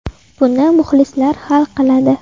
Buni muxlislar hal qiladi.